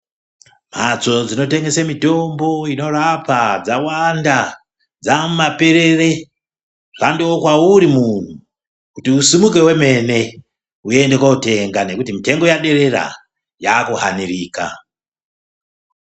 Mbatso dzinotengesa mitombo inorapa dzawanda dzamumaperere zvangova kwauri muntu kuti usimuke wemene uende kundotenga nekuti mutengo waderera yakuhanirika.